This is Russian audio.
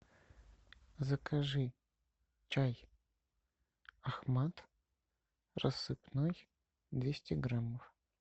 закажи чай ахмад рассыпной двести граммов